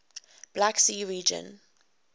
black sea region